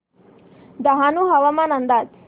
डहाणू हवामान अंदाज